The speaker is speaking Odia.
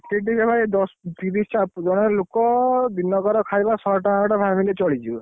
ସେଠି ଟିକେ ଭାଇ ଦଶ ତିରିଶ ଟା ଜଣେ ଲୋକ ଦିନକର ଖାଇବା ଶହେ ଟଙ୍କାଟା ଭାବିଲେ ଚଳି ଯିବ।